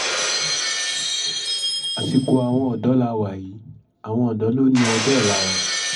àsìkò àwọn ọ̀dọ́ la wà yìí àwọn odò lò ní ọjọ́-ọ̀la wa